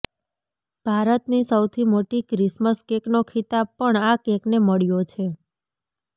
ભારતની સૌથી મોટી ક્રિસ્મસ કેકનો ખીતાબ પણ આ કેકને મળ્યો છે